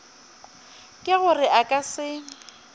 ke gore a ka se